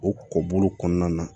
O kɔ bolo kɔnɔna na